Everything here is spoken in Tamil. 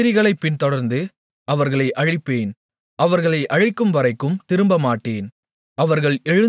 என்னுடைய எதிரிகளைப் பின்தொடர்ந்து அவர்களை அழிப்பேன் அவர்களை அழிக்கும்வரைக்கும் திரும்பமாட்டேன்